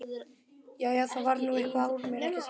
Jæja, það varð nú eitthvað úr mér, ekki satt?